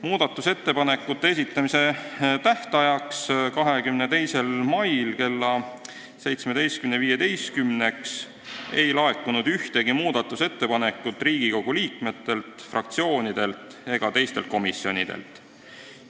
Muudatusettepanekute esitamise tähtajaks, 22. maiks kella 17.15-ks ei laekunud ühtegi muudatusettepanekut Riigikogu liikmetelt, fraktsioonidelt ega teistelt komisjonidelt.